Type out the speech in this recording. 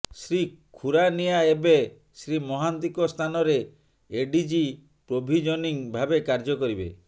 ଶ୍ରୀ ଖୁରାନିଆ ଏବେ ଶ୍ରୀ ମହାନ୍ତିଙ୍କ ସ୍ଥାନରେ ଏଡିଜି ପ୍ରୋଭିଜନିଂ ଭାବେ କାର୍ଯ୍ୟ କରିବେ